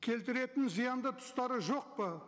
келтіретін зиянды тұстары жоқ па